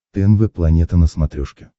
тнв планета на смотрешке